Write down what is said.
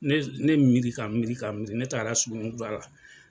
Ne ne miri ka miri ka miri ne taaga la sugunni kura la.